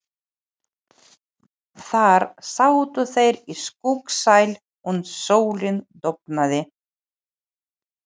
Þar sátu þeir í skuggsælu uns sólin dofnaði.